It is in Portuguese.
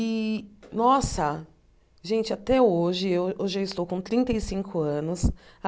E, nossa, gente, até hoje... Hoje eu estou com trinta e cinco anos.